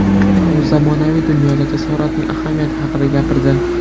U zamonaviy dunyoda jasoratning ahamiyati haqida gapirdi.